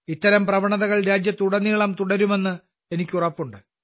ഇത്തരം പ്രവണതകൾ രാജ്യത്തുടനീളം തുടരുമെന്ന് എനിക്ക് ഉറപ്പുണ്ട്